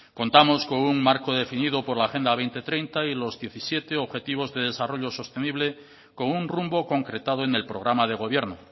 contamos con un marco definido por la agenda dos mil treinta y los diecisiete objetivos de desarrollo sostenible con un rumbo concretado en el programa de gobierno